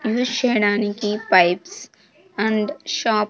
Use చేయడానికి pipes and shop .